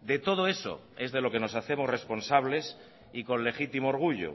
de todo eso es de lo que nos hacemos responsables y con legítimo orgullo